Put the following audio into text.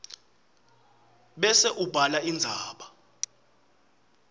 bese ubhala indzaba